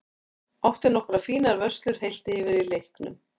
Átti nokkrar fínar vörslur heilt yfir í leiknum.